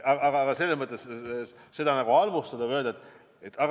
Aga halvustada ja öelda, et ...